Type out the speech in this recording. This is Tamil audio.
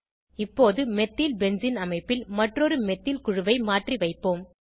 இப்போது மெத்தில்பென்சீன் அமைப்பில் மற்றொரு மெத்தில் குழுவை மாற்றி வைப்போம்